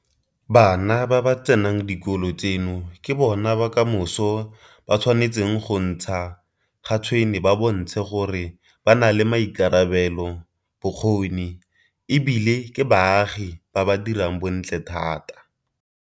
Bana ba ba tsenang dikolo tseno ke bona ba kamoso ba tshwanetseng go ntsha ga tshwene ba bontshe gore ba na le maikarabelo, bokgoni e bile ke baagi ba ba dirang bontle thata.